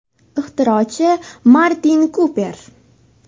Ixtirochi Martin Kuper.